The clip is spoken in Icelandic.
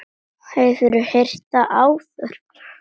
Hefurðu heyrt það áður?